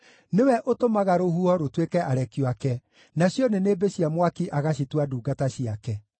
Nĩwe ũtũmaga rũhuho rũtuĩke arekio ake, nacio nĩnĩmbĩ cia mwaki agacitua ndungata ciake.